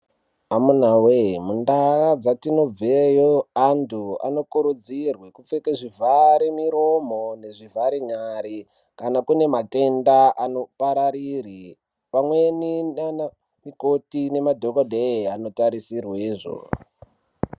Amunawee mundaa dzatinobveo anthu anokurudzirwe kupfeke zvivhare muromo nezvivhare nyare kana kune matenda anopararire pamweni ndana mukoti nemadhokodheya anotarisirwezvo.